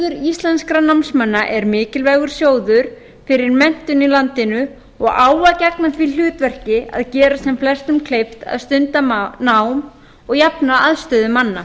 lánasjóður íslenskum námsmanna er mikilvægur sjóður fyrir menntun í landinu og á að gegna því hlutverki að gera sem flestum kleift að stunda nám og jafna aðstöðu manna